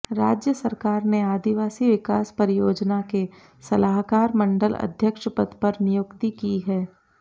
राज्य सरकार ने आदिवासी विकास परियोजना के सलाहकार मंडल अध्यक्ष पद पर नियुक्ति की है